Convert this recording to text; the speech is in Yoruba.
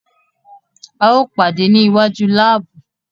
Ao pade ni iwaju laabu